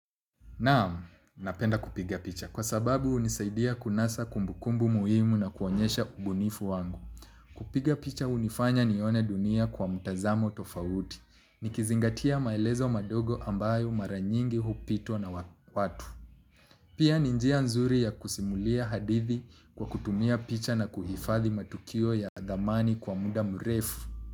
Naam, napenda kupiga picha kwa sababu hunisaidia kunasa kumbukumbu muhimu na kuonyesha ubunifu wangu. Kupiga picha hunifanya nione dunia kwa mtazamo tofauti. Nikizingatia maelezo madogo ambayo mara nyingi hupitwa na watu pia ni njia nzuri ya kusimulia hadithi kwa kutumia picha na kuhifadhi matukio ya dhamani kwa muda mrefu.